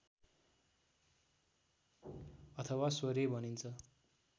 अथवा स्वरे भनिन्छ